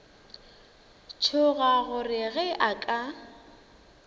tšhoga gore ge a ka